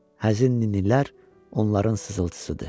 Həzin ninnilər onların sızıltısıdır.